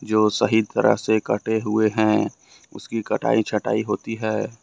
जो सही तरह से कटे हुए हैं उसकी कटाई छटाई होती है।